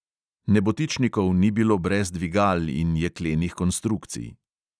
Nebotičnikov ni bilo brez dvigal in jeklenih konstrukcij.